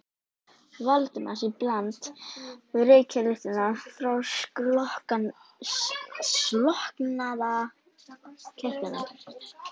Valdimars í bland við reykjarlyktina frá slokknaða kertinu.